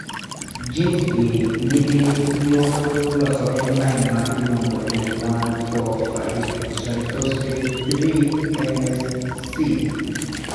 genes gi nigi yor loso enzyme ma iluongo ni 1,4,5 triphoshate 3 kinase C